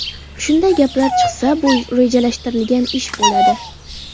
Shunday gaplar chiqsa, bu rejalashtirilgan ish bo‘ladi”.